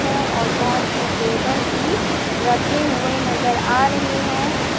है और बहोत से टेबल भी रखे हुए नजर आ रहे हैं।